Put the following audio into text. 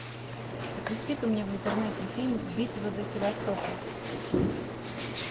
запусти ка мне в интернете фильм битва за севастополь